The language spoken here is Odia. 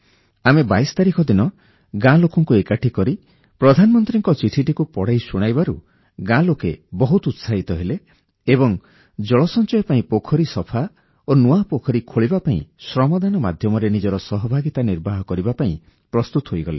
ଆମେ 22 ତାରିଖ ଦିନ ଗାଁ ଲୋକଙ୍କୁ ଏକାଠି କରି ପ୍ରଧାନମନ୍ତ୍ରୀଙ୍କ ଚିଠିଟିକୁ ପଢ଼ି ଶୁଣାଇବାରୁ ଗାଁ ଲୋକେ ବହୁତ ଉତ୍ସାହିତ ହେଲେ ଏବଂ ଜଳ ସଂଚୟ ପାଇଁ ପୋଖରୀ ସଫା ଓ ନୂଆ ପୋଖରୀ ଖୋଳିବା ପାଇଁ ଶ୍ରମଦାନ ମାଧ୍ୟମରେ ନିଜର ସହଭାଗିତା ନିର୍ବାହ କରିବା ପାଇଁ ପ୍ରସ୍ତୁତ ହୋଇଗଲେ